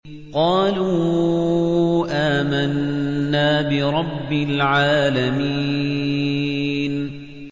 قَالُوا آمَنَّا بِرَبِّ الْعَالَمِينَ